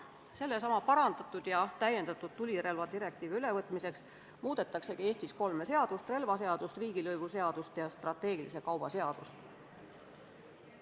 Sellesama, parandatud ja täiendatud tulirelvadirektiivi ülevõtmiseks muudetaksegi Eestis kolme seadust: relvaseadust, riigilõivuseadust ja strateegilise kauba seadust.